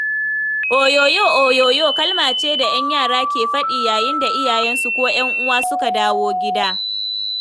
Oyoyo...Oyoyo' kalma ce da 'yan yara ke faɗi yayin da iyayensu ko 'yan uwa suka dawo gida.